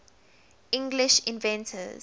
english inventors